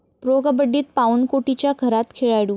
pro कबड्डीत पाऊण कोटीच्या घरात खेळाडू